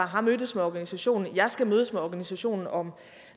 har mødtes med organisationen jeg skal mødes med organisationen om